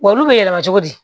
Wa olu bɛ yɛlɛma cogo di